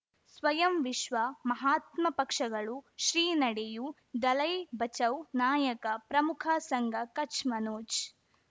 ಸ್ವಯಂ ವಿಶ್ವ ಮಹಾತ್ಮ ಪಕ್ಷಗಳು ಶ್ರೀ ನಡೆಯೂ ದಲೈ ಬಚೌ ನಾಯಕ ಪ್ರಮುಖ ಸಂಘ ಕಚ್ ಮನೋಜ್